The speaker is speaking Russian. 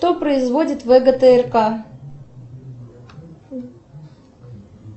кто производит вгтрк